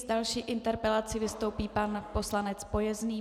S další interpelací vystoupí pan poslanec Pojezný.